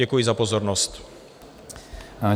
Děkuji za pozornost.